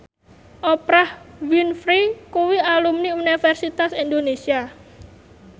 Oprah Winfrey kuwi alumni Universitas Indonesia